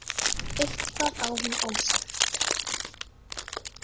Eitthvað á hún ósagt.